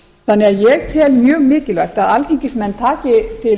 þannig að ég tel mjög mikilvægt að alþingismenn taki til